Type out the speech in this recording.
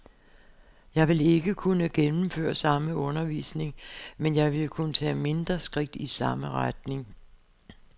Jeg vil ikke kunne gennemføre samme undervisning, men jeg ville kunne tage mindre skridt i samme retning.